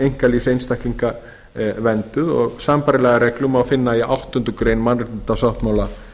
einkalífs einstaklinga vernduð sambærilega reglu má finna í áttundu grein mannréttindasáttmála